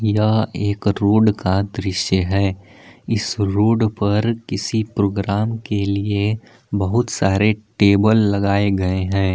क्या एक रोड का दृश्य है इस रोड पर किसी प्रोग्राम के लिए बहुत सारे टेबल लगाए गए हैं।